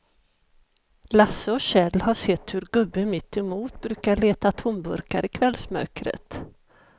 Lasse och Kjell har sett hur gubben mittemot brukar leta tomburkar i kvällsmörkret.